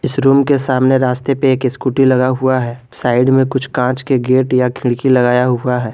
इस रूम के सामने रास्ते पे एक स्कूटी लगा हुआ है साइड में कुछ कांच के गेट या खिड़की लगाया हुआ है।